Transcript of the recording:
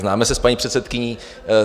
Známe se s paní předsedkyní.